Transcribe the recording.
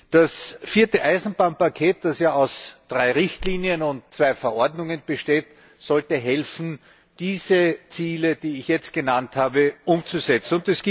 Das vierte Eisenbahnpaket, das ja aus drei Richtlinien und zwei Verordnungen besteht, sollte helfen, diese Ziele, die ich jetzt genannt habe, umzusetzen.